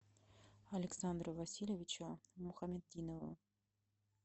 александру васильевичу мухаметдинову